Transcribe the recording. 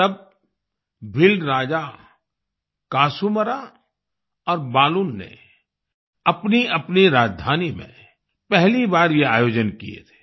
तब भील राजा कासूमरा और बालून ने अपनीअपनी राजधानी में पहली बार ये आयोजन किए थे